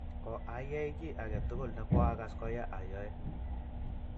koayei kiy age tugul ne koakas koya ayoe